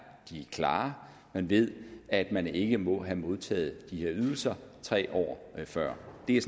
klare man ved at man ikke må have modtaget de her ydelser tre år før det er